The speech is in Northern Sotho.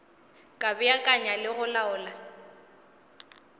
ka beakanya le go laola